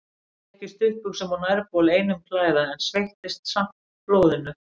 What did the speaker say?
Ég gekk í stuttbuxum og nærbol einum klæða, en sveittist samt blóðinu.